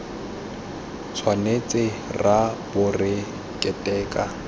tshwanetse ra bo re keteka